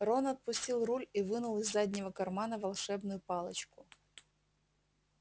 рон отпустил руль и вынул из заднего кармана волшебную палочку